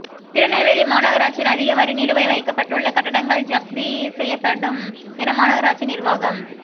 திருநெல்வேலி மாநகராட்சியில் அதிக வரிநிலுவை வைக்கப்பட்டுள்ள கட்டடங்கள் ஜப்தி செய்யப்படும் என மாநகராட்சி நிா்வாகம்